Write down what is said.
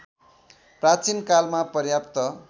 प्राचीन कालमा पर्याप्त